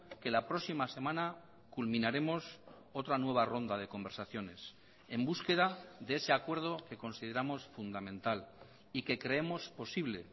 que la próxima semana culminaremos otra nueva ronda de conversaciones en búsqueda de ese acuerdo que consideramos fundamental y que creemos posible